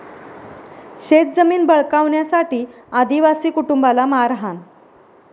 शेतजमीन बळकावण्यासाठी आदिवासी कुटुंबाला मारहाण